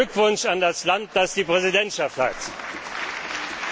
Meinen Glückwunsch an das Land, das die Präsidentschaft innehat!